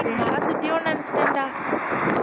நீ மறந்துட்டியோன்னு நினைச்சிட்டேன்டா